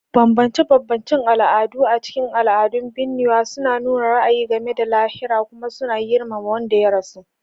Bambance-bambancen al'adu a cikin al'adun binnewa suna nuna ra'ayi game da lahira kuma suna girmama wanda ya rasu.